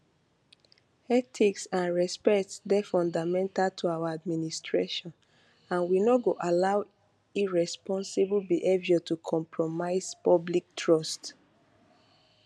ethics and respect dey fundamental to our administration and we no go allow irresponsible behaviour to compromise public trust